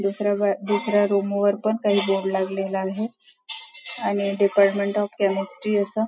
दुसऱ्या दुसऱ्या रूम वर पण काही बोर्ड लागलेला आहे आणि डिपार्टमेंट ऑफ केमिस्ट्रि अस --